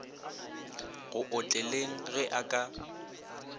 go otleleng ge a ka